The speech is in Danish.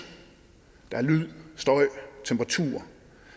lyd støj temperatur